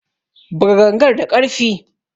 Buga gangar da karfi!